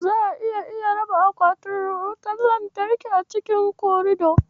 Za'a iya iya saka akwatin raba wutar lantarki a cikin korido.